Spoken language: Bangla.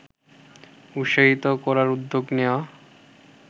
উৎসাহিত করার উদ্যোগ নেওয়া